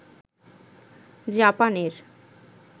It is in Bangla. জাপানের